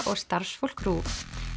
og starfsfólk RÚV